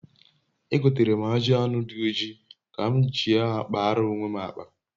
egotere m aji anu di oji ka m ji a kpaara onwe m akpa